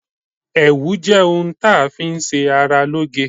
ẹwù jẹ òun tá fi n ṣe ará lo'ge